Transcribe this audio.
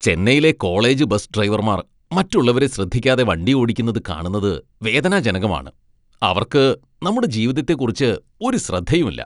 ചെന്നൈയിലെ college bus ഡ്രൈവർമാർ മറ്റുള്ളവരെ ശ്രദ്ധിക്കാതെ വണ്ടിയോടിക്കുന്നത് കാണുന്നത് വേദനാജനകമാണ്. അവർക്ക് നമ്മുടെ ജീവിതത്തെക്കുറിച്ച് ഒരു ശ്രദ്ധയുമില്ല.